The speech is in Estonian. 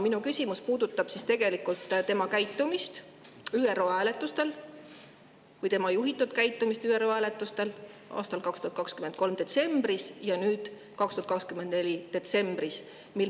Minu küsimus puudutab tegelikult välisministri juhitud käitumist ÜRO hääletustel 2023. aasta detsembris ja nüüd 2024. aasta detsembris.